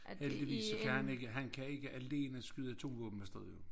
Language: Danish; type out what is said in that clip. Alt det viser kan han ikke han kan ikke alene skyde 2 våben afsted jo